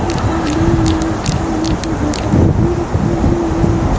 इस तस्वीर में पानी की बोतलें भी रखी हुई हैं।